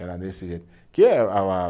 Era nesse jeito. Que a a